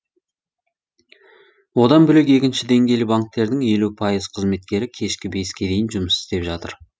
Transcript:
одан бөлек екінші деңгейлі банктердің елу пайыз қызметкері кешкі беске дейін жұмыс істеп жатыр